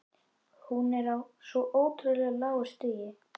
Hún er á svo ótrúlega lágu stigi.